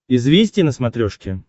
известия на смотрешке